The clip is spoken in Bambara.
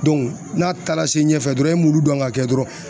n'a taara se ɲɛfɛ dɔrɔn i m'olu dɔn ka kɛ dɔrɔn